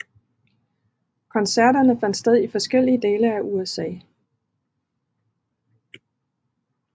Koncerterne fandt sted i forskellige dele af USA